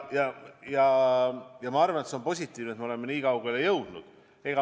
Ma arvan, et see on positiivne, et me oleme nii kaugele jõudnud.